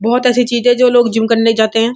बोहोत अच्छी चीज है जो लोग जिम करने जाते हैं।